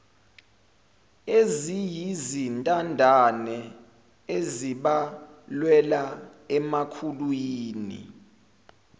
eziyizintandane ezibalelwa emakhulwini